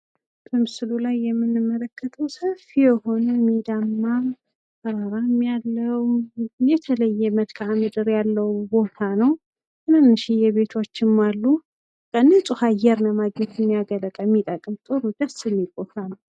በምስሉ ላይ የምንመለከተው ሰፊ የሆነ ሜዳማ ተራራም ያለው የተለየ መልካም ምድር ያለው ቦታ ነው። ትንንሽዬ ቤቶችም አሉ። ንጹህ አየር ለማግኘት የሚያገለግል የሚጠቀም ጥሩ ደስ የሚል ቦታ ነው።